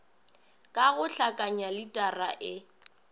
ka go hlakanya litara e